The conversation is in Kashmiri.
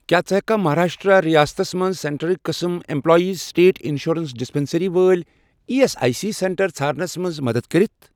کیٛاہ ژٕ ہیٚککھا مہاراشٹرٛا ریاستس مَنٛز سینٹرٕکۍ قٕسم ایٚمپلایِزسٕٹیٹ اِنشورَنس ڈِسپیٚنٛسرٛی وٲلۍ E S I C centre ژھارنَس مَنٛز مدد کٔرِتھ؟